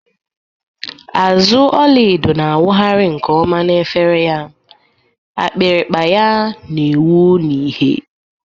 Azụ ọla edo na-awụgharị nke ọma n’efere ya, akpịrịkpa ya na-enwu n’ìhè.